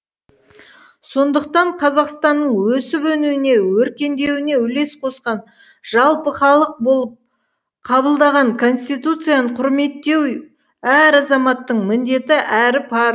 сондықтан қазақстанның өсіп өнуіне өркендеуіне үлес қосқан жалпы халық болып қабылдаған конституцияны құрметтеу әр азаматтың міндеті әрі парызы